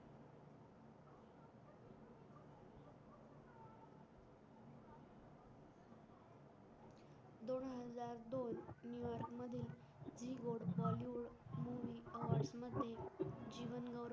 bollywood movie